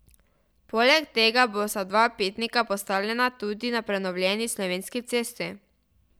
Poleg tega bosta dva pitnika postavljena tudi na prenovljeni Slovenski cesti.